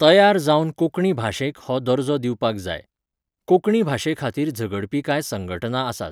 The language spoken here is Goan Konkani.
तयार जावन कोंकणी भाशेक हो दर्जो दिवपाक जाय. कोंकणी भाशेखातीर झगडपी कांय संघटना आसात